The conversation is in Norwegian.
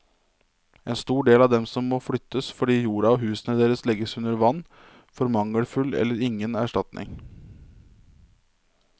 En stor del av dem som må flyttes fordi jorda og husene deres legges under vann, får mangelfull eller ingen erstatning.